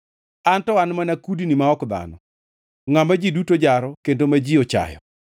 An to an mana kudni ma ok dhano, ngʼama ji duto jaro kendo ma ji ochayo.